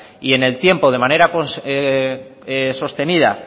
y en el tiempo de manera sostenida